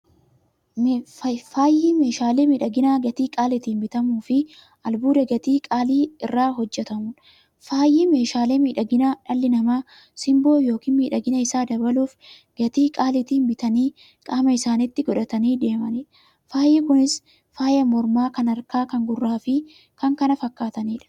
Faayyi meeshaalee miidhaginaa gatii qaalitiin bitamuufi albuuda gatii qaalii irraa hojjatamuudha. Faayyi meeshaalee miidhaginaa, dhalli namaa simboo yookiin miidhagina isaanii dabaluuf, gatii qaalitiin bitanii qaama isaanitti qodhatanii deemaniidha. Faayyi Kunis; faaya mormaa, kan harkaa, kan gurraafi kan kana fakkataniidha.